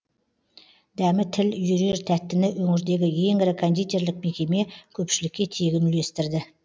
дәмі тіл үйірер тәттіні өңірдегі ең ірі кондитерлік мекеме көпшілікке тегін үлестірді